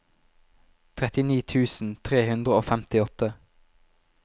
trettini tusen tre hundre og femtiåtte